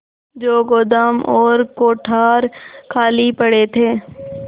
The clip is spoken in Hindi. जो गोदाम और कोठार खाली पड़े थे